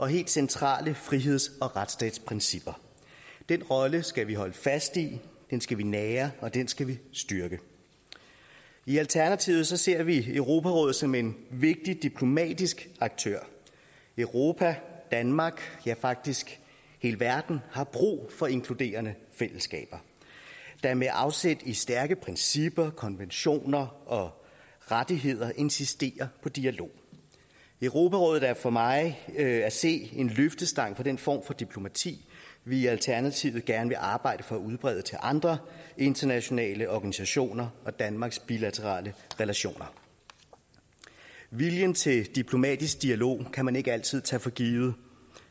helt centrale friheds og retsstatsprincipper den rolle skal vi holde fast i den skal vi nære og den skal vi styrke i alternativet ser vi europarådet som en vigtig diplomatisk aktør europa danmark ja faktisk hele verden har brug for inkluderende fællesskaber der med afsæt i stærke principper konventioner og rettigheder insisterer på dialog europarådet er for mig at se en løftestang for den form for diplomati vi i alternativet gerne vil arbejde for at udbrede til andre internationale organisationer og til danmarks bilaterale relationer viljen til diplomatisk dialog kan man ikke altid tage for givet